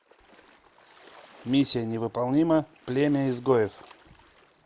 миссия невыполнима племя изгоев